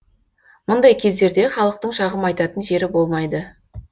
мұндай кездерде халықтың шағым айтатын жері болмайды